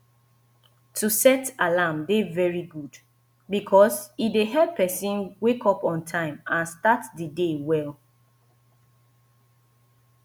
to set alarm dey very good because e dey help pesin wake up on time and start di day well